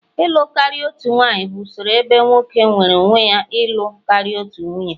ịlụ karịa otu nwanyị bụ usoro ebe nwoke nweere onwe ya ịlụ karịa otu nwunye